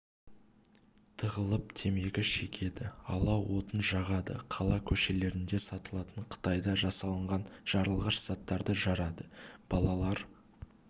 тығылып темекі шегеді алау отын жағады қала көшелерінде сатылатын қытайда жасалынған жарылғыш заттарды жарады балалар